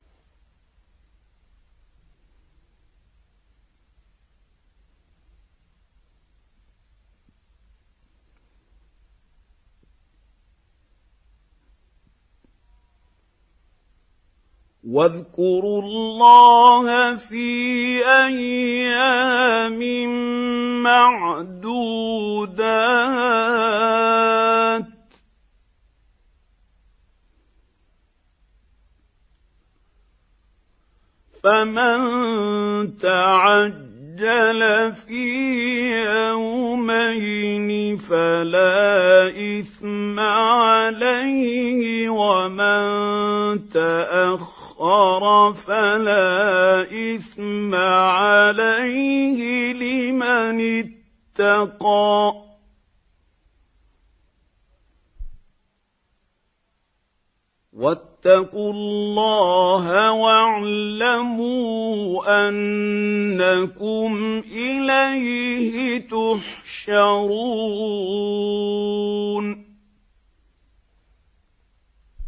۞ وَاذْكُرُوا اللَّهَ فِي أَيَّامٍ مَّعْدُودَاتٍ ۚ فَمَن تَعَجَّلَ فِي يَوْمَيْنِ فَلَا إِثْمَ عَلَيْهِ وَمَن تَأَخَّرَ فَلَا إِثْمَ عَلَيْهِ ۚ لِمَنِ اتَّقَىٰ ۗ وَاتَّقُوا اللَّهَ وَاعْلَمُوا أَنَّكُمْ إِلَيْهِ تُحْشَرُونَ